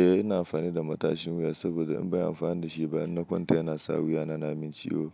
Eh ina amfani da matashin wuya, saboda in ban yi amfani da shi ba, idan na kwanta yana sa wuya na na min ciwo.